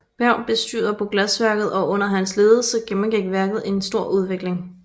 Berg bestyrer på glasværket og under hans ledelse gennemgik værket en stor utvikling